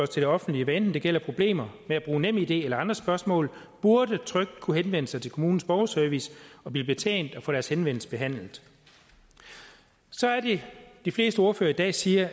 til det offentlige hvad enten det gælder problemer med at bruge nemid eller andre spørgsmål burde trygt kunne henvende sig til kommunens borgerservice og blive betjent og få deres henvendelse behandlet så er det de fleste ordførere i dag siger